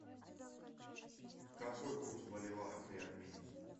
какой курс боливара при обмене